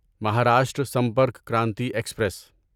Maharashtra Sampark Kranti express